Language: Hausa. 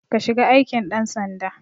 Ka shiga aikin ɗan sanda